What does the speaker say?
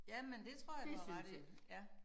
Ja men det tror jeg du har ret i ja